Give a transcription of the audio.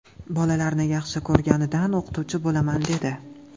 Bolalarni yaxshi ko‘rganidan o‘qituvchi bo‘laman dedi.